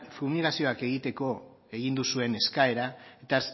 fumigazioak egiteko egin duzuen eskaera eta